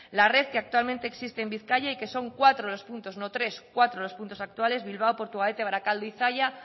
la red que actualmente existe en bizkaia y que son cuatro los puntos no tres cuatro los puntos actuales bilbao portugalete barakaldo y zalla